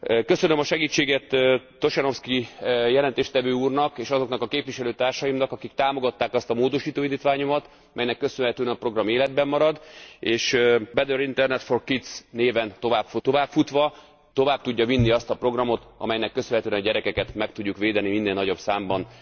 Köszönöm a segítséget Tošenovský jelentéstevő úrnak és azoknak a képviselőtársaimnak, akik támogatták azt a módosító indítványomat, melynek köszönhetően a program életben marad és Better internet for kids néven továbbfutva tovább tudja vinni azt a programot, amelynek köszönhetően a gyerekeket meg tudjuk védeni, minél nagyobb számban az internet káros tartalmaitól.